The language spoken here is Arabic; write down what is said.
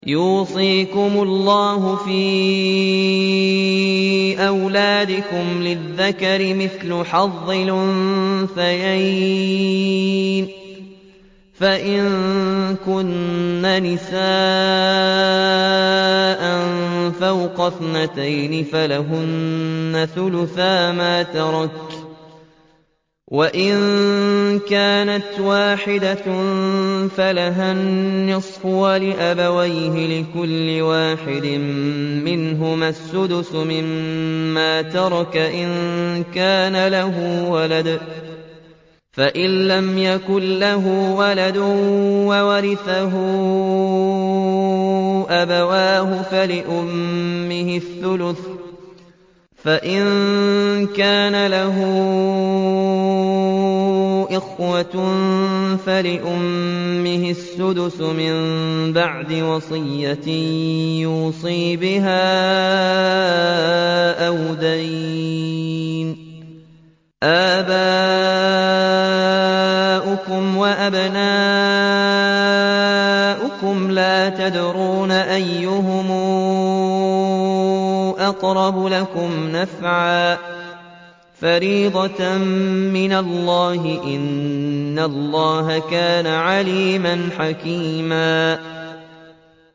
يُوصِيكُمُ اللَّهُ فِي أَوْلَادِكُمْ ۖ لِلذَّكَرِ مِثْلُ حَظِّ الْأُنثَيَيْنِ ۚ فَإِن كُنَّ نِسَاءً فَوْقَ اثْنَتَيْنِ فَلَهُنَّ ثُلُثَا مَا تَرَكَ ۖ وَإِن كَانَتْ وَاحِدَةً فَلَهَا النِّصْفُ ۚ وَلِأَبَوَيْهِ لِكُلِّ وَاحِدٍ مِّنْهُمَا السُّدُسُ مِمَّا تَرَكَ إِن كَانَ لَهُ وَلَدٌ ۚ فَإِن لَّمْ يَكُن لَّهُ وَلَدٌ وَوَرِثَهُ أَبَوَاهُ فَلِأُمِّهِ الثُّلُثُ ۚ فَإِن كَانَ لَهُ إِخْوَةٌ فَلِأُمِّهِ السُّدُسُ ۚ مِن بَعْدِ وَصِيَّةٍ يُوصِي بِهَا أَوْ دَيْنٍ ۗ آبَاؤُكُمْ وَأَبْنَاؤُكُمْ لَا تَدْرُونَ أَيُّهُمْ أَقْرَبُ لَكُمْ نَفْعًا ۚ فَرِيضَةً مِّنَ اللَّهِ ۗ إِنَّ اللَّهَ كَانَ عَلِيمًا حَكِيمًا